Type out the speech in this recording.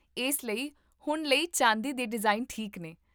ਇਸ ਲਈ, ਹੁਣ ਲਈ ਚਾਂਦੀ ਦੇ ਡਿਜ਼ਾਈਨ ਠੀਕ ਨੇ